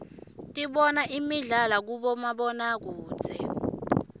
dibona imidlalo uibomabonokudze